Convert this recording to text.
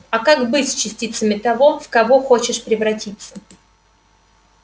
а как быть с частицами того в кого хочешь превратиться